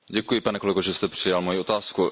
Děkuji pane kolego, že jste přijal moji otázku.